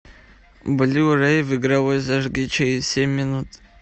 блю рей в игровой зажги через семь минут